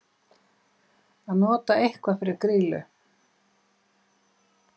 Að nota eitthvað fyrir grýlu